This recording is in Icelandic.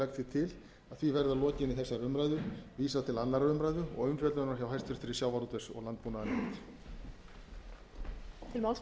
legg til að því verði að lokinni þessari umræðu vísað til annarrar umræðu og umfjöllunar hjá háttvirtum sjávarútvegs og landbúnaðarnefnd